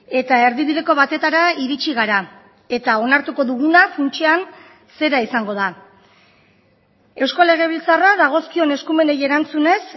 eta erdibideko batetara iritsi gara eta onartuko duguna funtsean zera izango da eusko legebiltzarra dagozkion eskumenei erantzunez